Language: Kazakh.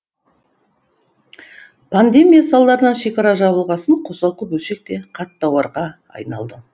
пандемия салдарынан шекара жабылғасын қосалқы бөлшек те қат тауарға айналды